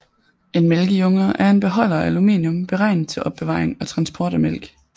En mælkejunge er en beholder af aluminium beregnet til opbevaring og transport af mælk